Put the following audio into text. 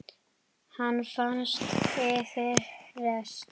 Hann fannst fyrir rest!